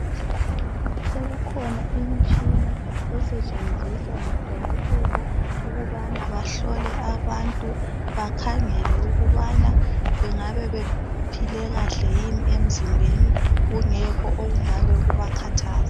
Sekukhona imitshina esetshenziswa ngudokotela ukubana bahlole abantu bakhangele ukubana bengabebephile kahle yini emzimben kungekho okungabakhathaza.